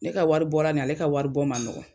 Ne ka wari bɔra nin ale ka wari bɔ